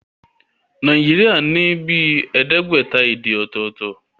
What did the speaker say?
Nàìjíríà ní bíi ẹẹdẹgbẹta èdè ọ̀tọ̀tọ̀